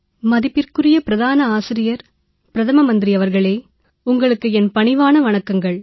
மதிப்பிற்குரிய பிரதமர் அவர்களே உங்களுக்கு என் பணிவான வணக்கங்கள்